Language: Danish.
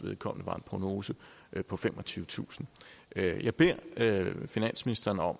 vedkommende var en prognose på femogtyvetusind jeg beder finansministeren om